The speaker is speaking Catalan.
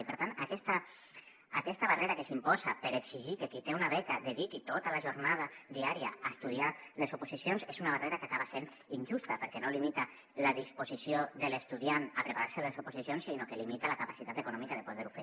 i per tant aquesta barrera que s’imposa per exigir que qui té una beca dediqui tota la jornada diària a estudiar les oposicions és una barrera que acaba sent injusta perquè no limita la disposició de l’estudiant a preparar se les oposicions sinó que limita la capacitat econòmica de poder ho fer